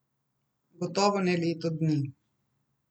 Gotovo ne leto dni.